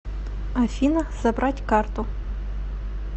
афина забрать карту